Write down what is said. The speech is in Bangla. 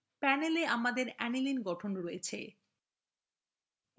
panelwe আমাদের aniline গঠন রয়েছে